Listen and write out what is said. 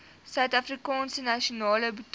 suidafrikaanse nasionale botaniese